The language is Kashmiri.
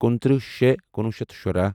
کُنتٕرہ شے کُنوُہ شیتھ شُراہ